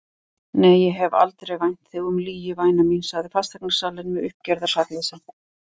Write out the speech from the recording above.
Nei, ég hef aldrei vænt þig um lygi væna mín, sagði fasteignasalinn með uppgerðar sakleysi.